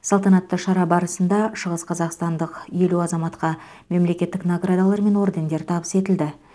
салтанатты шара барысында шығысқазақстандық елу азаматқа мемлекеттік наградалар мен ордендер табыс етілді